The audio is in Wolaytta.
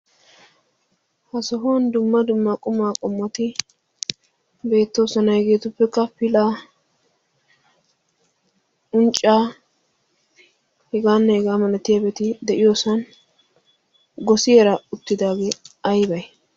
ha sohuwan dumma dumma quma qommoti beettoosona. hegetuppekka pilaa, uncca heganne hegaa malatiyaageeti de'iyoosan, gossiyaara uttidaagee aybbay?